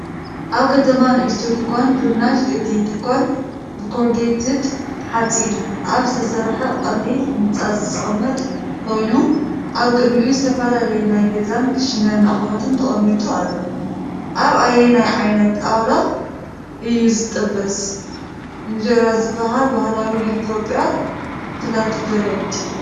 ኣብ ከተማ ንእሽቶ ድኳን ፍርናሽ። እቲ ድኳን ብኮርጌትድ ሓጺን ኣብ ዝተሰርሐ ቀሊል ህንጻ ዝቕመጥ ኮይኑ፡ ኣብ ቅድሚኡ ዝተፈላለየ ናይ ገዛን ክሽነን ኣቑሑት ተቐሚጡ ኣሎ። ኣብ ኣየናይ ዓይነት ጣውላ እዩ ዝጥበስ "እንጀራ" ዝበሃል ባህላዊ ናይ ኢትዮጵያ ፍላትብሬድ?